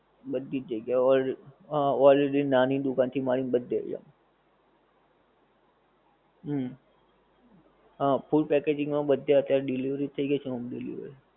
બધીજ જગ્યા all હા already નાની દુકાન થી મળી ને બધે ત્યાં હા full packaging માં બધે delivery થઈ ગઈ છે home delivery